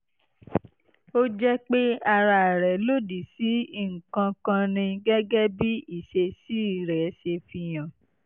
ó jẹ́ pé ara rẹ lòdì sí nǹkan kan ni gẹ́gẹ́ bí ìṣesí rẹ̀ ṣe fihàn